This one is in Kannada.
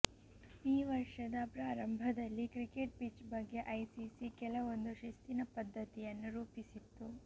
ಈ ವರ್ಷದ ಪ್ರಾರಂಭದಲ್ಲಿ ಕ್ರಿಕೆಟ್ ಪಿಚ್ ಬಗ್ಗೆ ಐಸಿಸಿ ಕೆಲವೊಂದು ಶಿಸ್ತಿನ ಪದ್ಧತಿಯನ್ನು ರೂಪಿಸಿತ್ತು